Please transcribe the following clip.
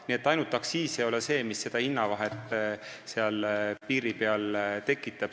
Nii et ainult aktsiis ei ole see, mis piiri peal seda hinnavahet tekitab.